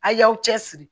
A' y'aw cɛsiri